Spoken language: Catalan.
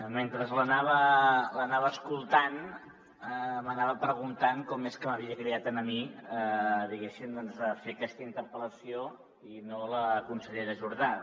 mentre l’anava escoltant m’anava preguntant com és que m’havia cridat a mi diguéssim doncs a fer aquesta interpel·lació i no a la consellera jordà